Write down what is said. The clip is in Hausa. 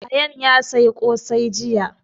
Ayaan ya saya ƙosai jiya